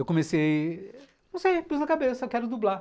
Eu comecei... Não sei, pus na cabeça, quero dublar.